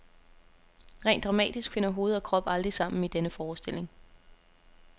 Rent dramatisk finder hoved og krop aldrig sammen i denne forestilling.